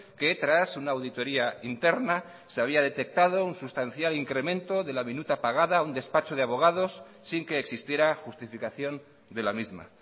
que tras una auditoria interna se había detectado un sustancial incremento de la minuta pagada a un despacho de abogados sin que existiera justificación de la misma